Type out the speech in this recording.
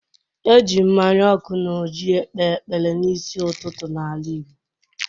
E ji mmanya ọkụ na ọjị ekpe ekpere n'isi ụtụtụ n'ala Igbo.